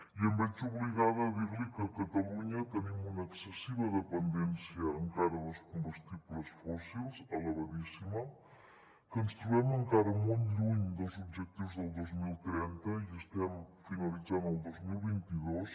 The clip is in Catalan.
i em veig obligada a dir li que a catalunya tenim una excessiva dependència encara dels combustibles fòssils elevadíssima que ens trobem encara molt lluny dels objectius del dos mil trenta i estem finalitzant el dos mil vint dos